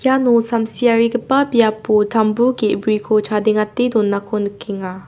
iano samsiarigipa biapo tambu ge·briko chadengate donako nikenga.